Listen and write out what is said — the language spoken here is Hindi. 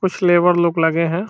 कुछ लेबर लोग लगे हैं।